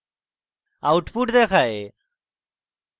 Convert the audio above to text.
output দেখায়